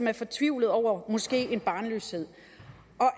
er fortvivlede over barnløshed